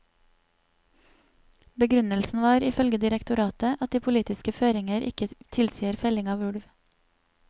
Begrunnelsen var, ifølge direktoratet, at de politiske føringer ikke tilsier felling av ulv.